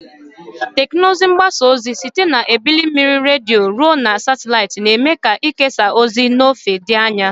Teknụzụ mgbasa ozi, site na ebili mmiri redio ruo na satịlaịtị, na-eme ka ikesa ozi na ozi n'ofe dị anya.